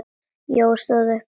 Jói stóð upp.